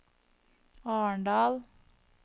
Arendal